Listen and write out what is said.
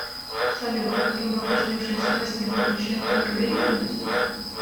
салют рыба приснившаяся во сне предвещает только беременность